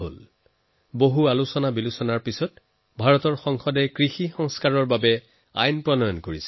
যথেষ্ট আলাপআলোচনাৰ পিছত ভাৰতৰ সংসদে কৃষি সংস্কাৰক আইনগত ৰূপ দিছে